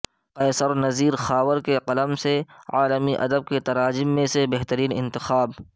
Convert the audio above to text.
قیصر نذیر خاور کے قلم سے عالمی ادب کے تراجم میں سے بہترین انتخاب